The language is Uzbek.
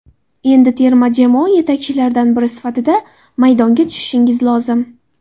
Endi terma jamoa yetakchilaridan biri sifatida maydonga tushishingiz lozim.